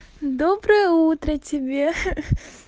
доброе утро тебе хе-хе